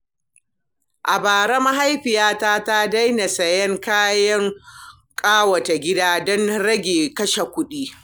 A bara, mahaifiyata ta daina siyan kayan ƙawata gida don rage kashe kuɗi.